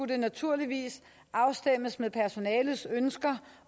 det naturligvis afstemmes med personalets ønsker